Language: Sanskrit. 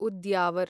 उद्यावर